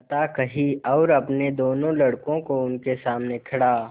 कथा कही और अपने दोनों लड़कों को उनके सामने खड़ा